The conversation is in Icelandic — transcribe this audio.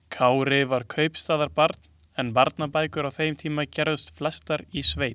Kári var kaupstaðarbarn en barnabækur á þeim tíma gerðust flestar í sveit.